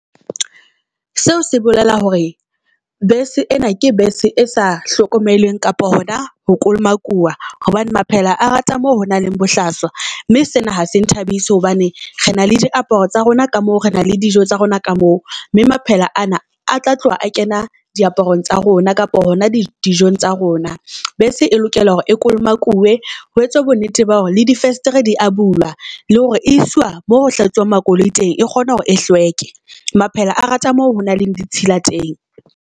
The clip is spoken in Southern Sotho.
Seo se bolela hore bese ena ke bese e sa hlokomelweng kapa hona ho kolomakua hobane maphela a rate mo ho nang le bohlaswa. Mme sena ha se nthabise hobane re na le diaparo tsa rona ka moo, re na le dijo tsa rona ka moo. Mme maphela ana a tla tloha a kena diaparong tsa rona kapa hona dijong tsa rona. Bese e lokela hore e kolomakuwuwe ho etswa bo nnete ba hore le di festere di a bulwa, le hore e iswa mo ho hlatsuwang makoloi teng. E kgone hore e hlweke Maphele a rata moo ho nang le ditshila teng.